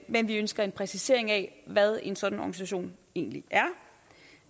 men vi ønsker en præcisering af hvad en sådan organisation egentlig